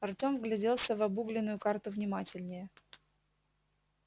артем вгляделся в обугленную карту внимательнее